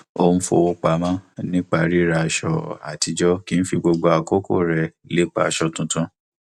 ó ń fowó pamọ nípa ríra aṣọ àtijọ kì í fi gbogbo àkókò rẹ lépa aṣọ tuntun